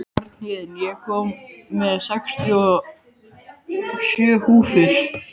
Bjarnhéðinn, ég kom með sextíu og sjö húfur!